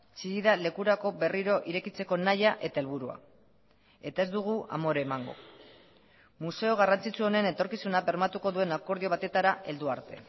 chillida lekurako berriro irekitzeko nahia eta helburua eta ez dugu amore emango museo garrantzitsu honen etorkizuna bermatuko duen akordio batetara heldu arte